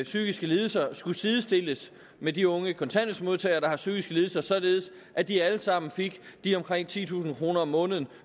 psykiske lidelser skulle sidestilles med de unge kontanthjælpsmodtagere der har psykiske lidelser således at de alle sammen fik de omkring titusind kroner om måneden